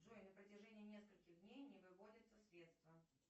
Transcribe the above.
джой на протяжении нескольких дней не выводятся средства